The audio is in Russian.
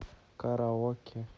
караоке